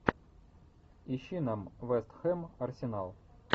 ищи нам вест хэм арсенал